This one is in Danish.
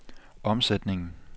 omsætningen